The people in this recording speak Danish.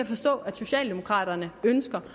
forstå at socialdemokraterne ønsker